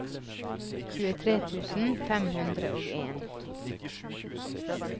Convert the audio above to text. tjuetre tusen fem hundre og en